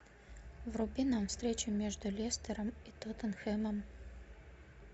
вруби нам встречу между лестером и тоттенхэмом